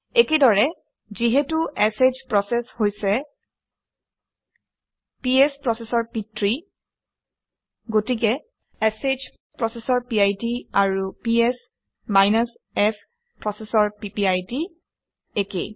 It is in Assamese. একেদৰে যিহেতু শ প্ৰচেচ হৈছে পিএছ প্ৰচেচৰ পিতৃ গতিকে শ প্ৰচেচৰ পিড আৰু পিএছ -f প্ৰচেচৰ পিপিআইডি একে